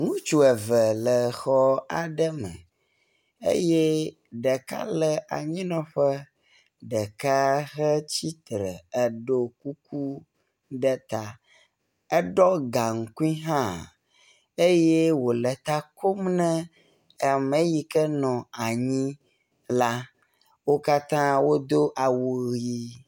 Ŋutsu eve le xɔ aɖe me eye ɖeka le anyinɔƒe ɖeka hetsi tre eɖo kuku ɖe ta. Eɖɔ gaŋkui hã eye wo le ta kom e ame yi ke nɔ anyi la. Wo katã wodo awu ʋi.